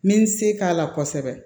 N bɛ n se k'a la kosɛbɛ